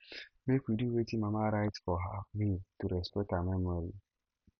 make we do wetin mama write for her will to respect her memory